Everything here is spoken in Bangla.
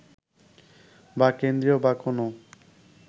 বা কেন্দ্রীয় বা কোনও